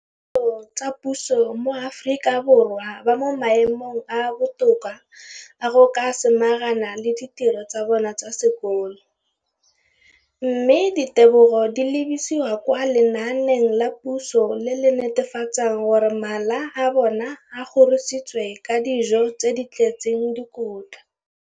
dikolo tsa puso mo Aforika Borwa ba mo maemong a a botoka a go ka samagana le ditiro tsa bona tsa sekolo, mme ditebogo di lebisiwa kwa lenaaneng la puso le le netefatsang gore mala a bona a kgorisitswe ka dijo tse di tletseng dikotla.